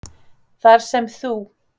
"""Þar sem þú,"""